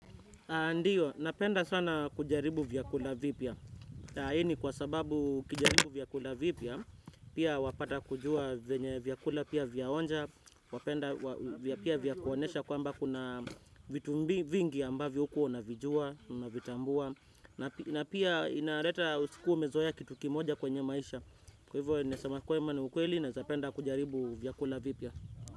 Ndiyo, napenda sana kujaribu vyakula vipya. Hii ni kwa sababu ukijaribu vyakula vipya, pia wapata kujua venye vyakula pia vyaonja, pia vyakuonesha kwamba kuna vitu vingi ambavyo hukuwa unavijua, na unavitambua. Na pia inareta usikuwa umezoea kitu kimoja kwenye maisha. Kwa hivyo, nasemakwema ni ukweli na zapenda kujaribu vyakula vipya.